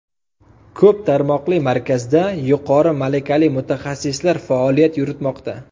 Ko‘p tarmoqli markazda yuqori malakali mutaxassislar faoliyat yuritmoqda.